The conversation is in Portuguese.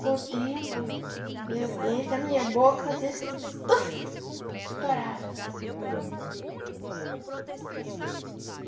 Com o tempo, as dentes da minha boca faziam assim tufi... Estourava.